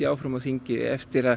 áfram á þingi eftir að